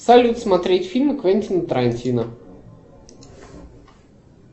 салют смотреть фильмы квентина тарантино